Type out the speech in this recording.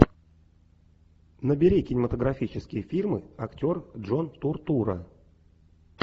набери кинематографические фильмы актер джон туртурро